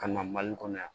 Ka na mali kɔnɔ yan